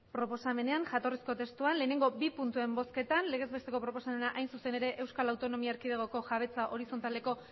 proposamenean jatorrizko testuan lehenengo bi puntuen bozketan legez besteko proposamena hain zuzen ere euskal autonomia erkidegoko jabetza horizontaleko